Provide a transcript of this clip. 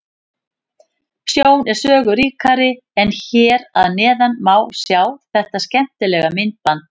Sjón er sögu ríkari en hér að neðan má sjá þetta skemmtilega myndband.